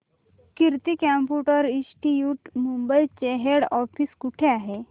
कीर्ती computer institute Mumbai चे head office कुठे आहे